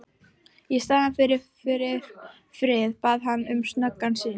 Í staðinn fyrir frið bað hann um snöggan sigur.